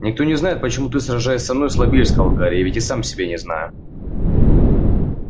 никто не знает почему ты сражаясь со мной слабеешь сказал гарри я ведь и сам себя не знаю